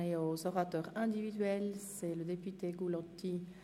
Wir sind bei den Einzelsprechern angelangt.